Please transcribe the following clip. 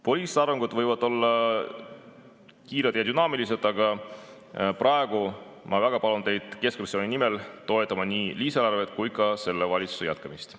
Poliitilised arengud võivad olla kiired ja dünaamilised, aga praegu ma keskfraktsiooni nimel väga palun teid toetada nii lisaeelarvet kui ka selle valitsuse jätkamist.